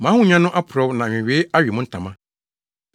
Mo ahonya no aporɔw na nwewee awe mo ntama.